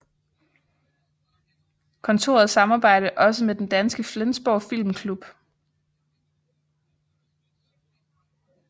Kontoret samarbejder også med den danske Flensborg Filmklub